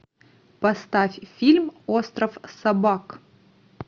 поставь фильм остров собак